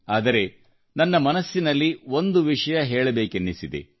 ಆದರೆ ನನ್ನ ಮನಸ್ಸಿನಲ್ಲಿ ಒಂದು ವಿಷಯ ಹೇಳಬೇಕೆನಿಸಿದೆ